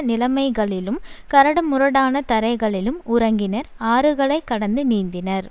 நிலைமைகளிலும் கரடுமுரடான தரைகளிலும் உறங்கினர் ஆறுகளைக் கடந்து நீந்தினர்